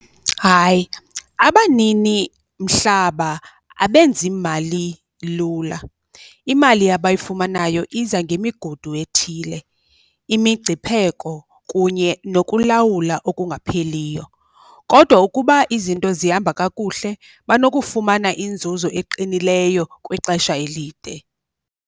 Hayi, abanini mhlaba abenzi mali lula, imali abayifumanayo iza ngemigudu ethile, imingcipheko kunye nokulawula okungapheliyo. Kodwa ukuba izinto zihamba kakuhle banokufumana inzuzo eqinileyo kwixesha elide.